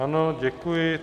Ano, děkuji.